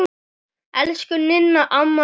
Elsku Ninna amma er dáin.